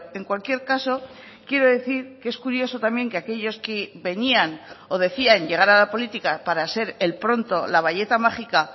en cualquier caso quiero decir que es curioso también que aquellos que venían o decían llegar a la política para ser el pronto la bayeta mágica